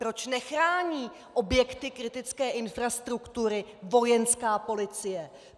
Proč nechrání objekty kritické infrastruktury Vojenská policie?